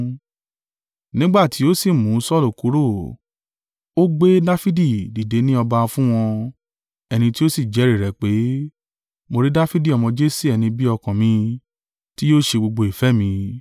Nígbà ti ó sì mú Saulu kúrò, ó gbé Dafidi dìde ní ọba fún wọn, ẹni tí ó sì jẹ́rìí rẹ̀ pé, ‘Mo rí Dafidi ọmọ Jese ẹni bí ọkàn mi, ti yóò ṣe gbogbo ìfẹ́ mi.’